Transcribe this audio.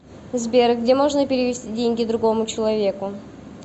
сбер где можно перевести деньги другому человеку